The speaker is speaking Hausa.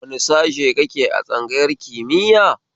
Wani sashe kake a tsangayar kimiya?